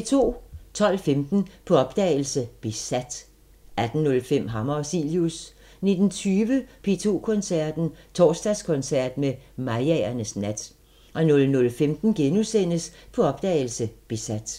12:15: På opdagelse – Besat 18:05: Hammer og Cilius 19:20: P2 Koncerten – Torsdagskoncert med Mayaernes nat 00:15: På opdagelse – Besat *